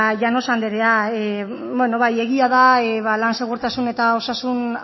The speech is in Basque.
llanos anderea egia da lan segurtasun eta osasun